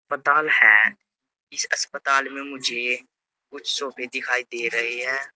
पताल है इस अस्पताल में मुझे कुछ सोफे दिखाई दे रहे हैं।